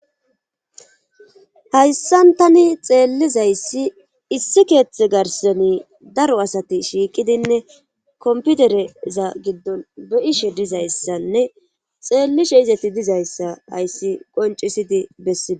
hayssan tani xeellizayssi issi keeththe garsoni daro asati shiiqidinne komputereza giddon beyishe dizayssanne xeellishe izati dizayssa hayssi qoncisidi bessidi